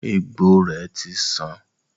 Egbò è ti san